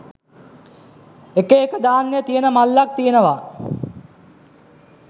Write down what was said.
එක එක ධාන්‍ය තියෙන මල්ලක් තියෙනවා